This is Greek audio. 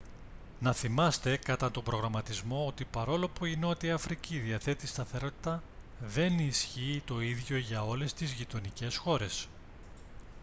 να θυμάστε κατά τον προγραμματισμό ότι παρόλο που η νότια αφρική διαθέτει σταθερότητα δεν ισχύει το ίδιο για όλες τις γειτονικές χώρες